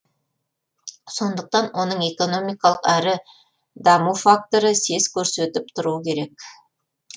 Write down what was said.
сондықтан оның экономикалық әрі даму факторы сес көрсетіп тұруы керек